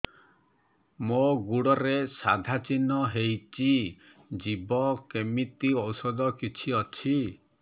ମୋ ଗୁଡ଼ରେ ସାଧା ଚିହ୍ନ ହେଇଚି ଯିବ କେମିତି ଔଷଧ କିଛି ଅଛି